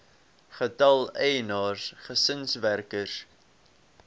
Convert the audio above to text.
getal eienaars gesinswerkers